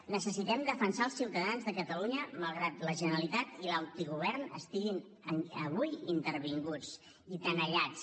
necessitem defensar els ciutadans de catalunya malgrat que la generalitat i l’autogovern estiguin avui intervinguts i tenallats